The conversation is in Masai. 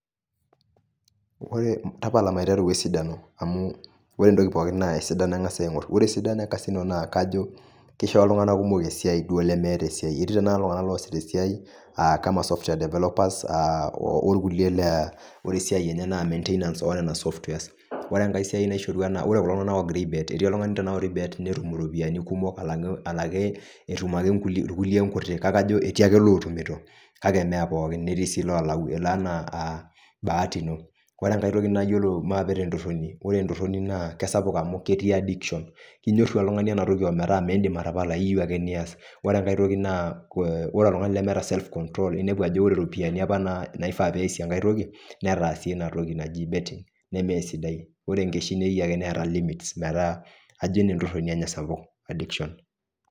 Ore tapala maiteru oesidano amuu, ore entoki pooki naa esidano eng'asai aing'or, ore esidano ekasino naa kajo, kisho iltung'ana kumok esiai duo lemeeta esiai, etii tanakata iltung'anak loosita esiai aa cs[kama]cs cs[software developers]cs aa orkuliek laa ore esiai enye naa cs[maintainance]cs oonena cs[softwares]cs ore enkae siai naishorua naa ore kulo tung'ana oogira aibet etii oltung'ani tanakata ogira aibet netum iropiyani kumok alang'u enaki etum ake irkuliek inkuti kake ajo etii ake ilootumito kake mee pookin netii sii ilolau elo enaa baati ino ore aitoki nayolo, maape tentorroni, ore entorroni naa kesap amuu ketii cs[addiction]cs kenyorru oltung'ani ena toki ometaa miindim atapala iyeu ake nias ore enkae toki naa, kore ore oltung'ani lemeeta cs[self control]cs inepu ajo iropiyani apa naifaa peesie enkae toki netaasie ina toki naji cs[betting]cs nemeesidai ore enkeshi neyeu ake neeta cs[limits]cs meeta ajo ina entorroni enye sapuk cs[addiction]cs .